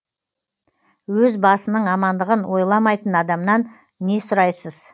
өз басының амандығын ойламайтын адамнан не сұрайсыз